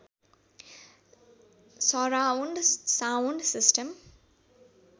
surround sound system